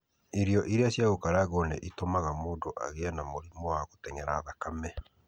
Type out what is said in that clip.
Irio iria cia gũkarangwo nĩ itũmaga mũndũ agĩe na mũrimũ wa gũtenyera thakame.